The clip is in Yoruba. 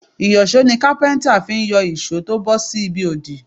Ìyọ̀ṣó ni Kápẹ́ńtà fi ń yọ ìṣó tó bọ́ sí ibi òdì.